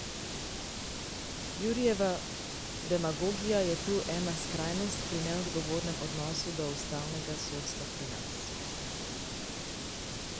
Jurijeva demagogija je tu ena skrajnost pri neodgovornem odnosu do ustavnega sodstva pri nas.